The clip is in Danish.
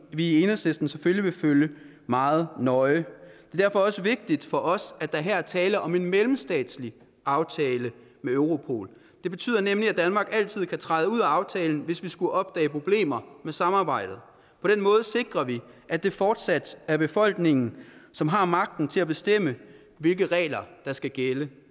vi i enhedslisten selvfølgelig vil følge meget nøje det er derfor også vigtigt for os at der her er tale om en mellemstatslig aftale med europol det betyder nemlig at danmark altid kan træde ud af aftalen hvis vi skulle opdage problemer med samarbejdet på den måde sikrer vi at det fortsat er befolkningen som har magten til at bestemme hvilke regler der skal gælde